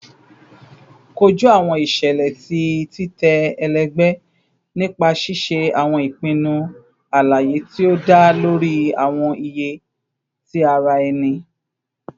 Koju awọn iṣẹlẹ ti titẹ ẹlẹgbẹ nipa ṣiṣe awọn ipinnu alaye ti o da lori awọn iye ti ara ẹni